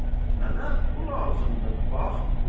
Mənə bu lazımdır, bax bu.